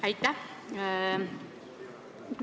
Aitäh!